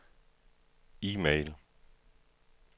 e-mail